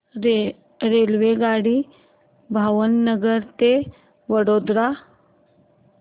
रेल्वेगाडी भावनगर ते वडोदरा